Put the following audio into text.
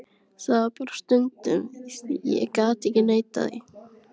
Það var það stundum, ég get ekki neitað því.